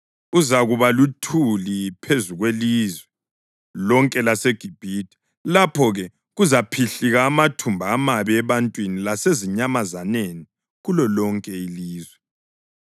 Uzakuba luthuli phezu kwelizwe lonke laseGibhithe, lapho-ke kuzaphihlika amathumba amabi ebantwini lasezinyamazaneni kulolonke ilizwe.”